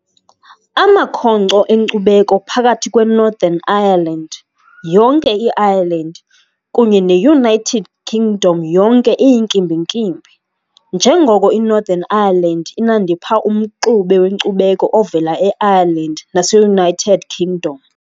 Amakhonkco enkcubeko phakathi kweNorthern Ireland, yonke i-Ireland kunye ne-United Kingdom yonke iyinkimbinkimbi, njengoko iNorthern Ireland inandipha umxube wenkcubeko ovela e-Ireland nase-United Kingdom.